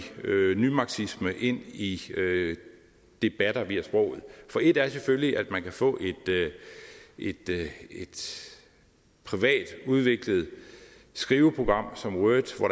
nymarxisme ind i debatter via sproget for et er selvfølgelig at man kan få et privat udviklet skriveprogram som word hvor